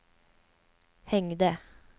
hängde